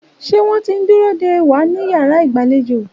Ṣé wọ́n ti ń dúró dè wá ní yàrá ìgbàlejò?